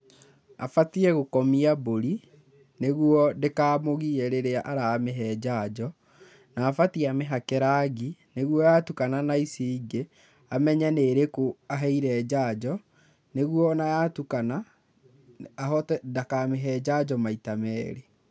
Abatiĩ gũkomia mbũri nĩguo ndĩkamũgie rĩrĩa aramĩhe njanjo na abatiĩ amĩhake rangi nĩguo yatukana na ici ingĩ amenye nĩ ĩrĩkũ aheire njanjo nĩguo o na yatukana, ndakamĩhe njanjo maita merĩ.